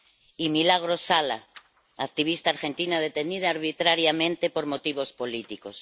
y Milagro Sala, activista argentina detenida arbitrariamente por motivos políticos.